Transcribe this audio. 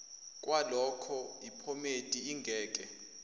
kwaloko iphomedi ingeke